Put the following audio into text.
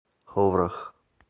ховрах